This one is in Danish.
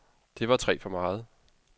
Det var tre for meget.